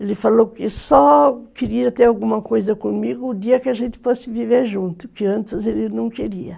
Ele falou que só queria ter alguma coisa comigo o dia que a gente fosse viver junto, que antes ele não queria.